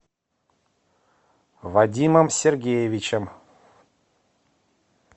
вадимом сергеевичем